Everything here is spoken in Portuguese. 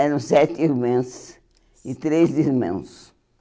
Eram sete irmãs e três irmãos.